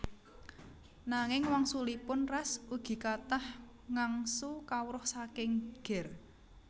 Nanging wangsulipun Ras ugi kathah ngangsu kawruh saking Ger